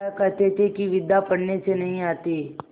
वह कहते थे कि विद्या पढ़ने से नहीं आती